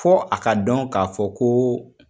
Fɔ a ka dɔn k'a fɔ ko